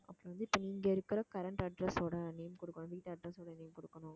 அப்புறம் வந்து இப்ப நீங்க இருக்கிற current address ஓட name கொடுக்கணும், வீட்டு address ஓட name கொடுக்கணும்